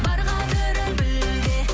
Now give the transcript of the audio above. бар қадірін біл де